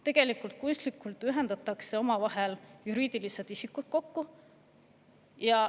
Tegelikult kunstlikult ühendatakse omavahel juriidilised isikud.